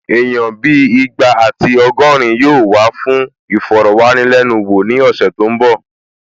Èèyàn bíi ìgbà àti ọgọ́rin yóò wá fún ìfọ̀rọ̀wánilẹ́nuwò ní ọ̀sẹ̀ tó n bọ̀